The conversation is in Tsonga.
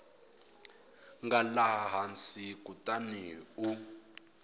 nga laha hansi kutani u